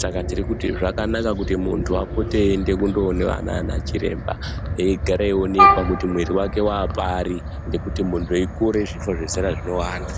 Saka tiri kuti zvakanaka kuti muntu apote eienda kundoona nana chiremba, eigara eionekwa kuti mwiri wake waapari. Ngekuti muntu eikura zvifo zve era zvinowanda.